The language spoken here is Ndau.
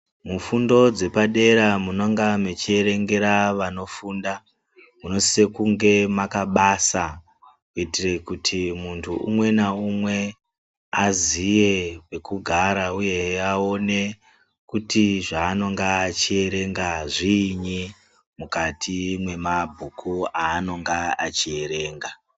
Mufundo dzepadera munonga mwechierengera vanofunda, munosisa kunge makabasa kuitira kuti muntu umwe naumwe aziye pekugara uye aone kuti zvaanenge achierenga zviinyi mukati mwemabhuku aanonga achierenga.